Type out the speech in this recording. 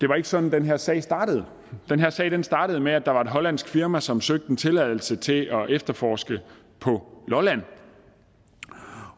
var sådan den her sag startede den her sag startede med at der var et hollandsk firma som søgte en tilladelse til at efterforske på lolland